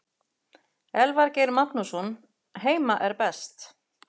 Elvar Geir Magnússon Heima er best.